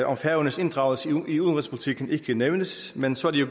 om færøernes inddragelse i udenrigspolitikken ikke nævnes men så er det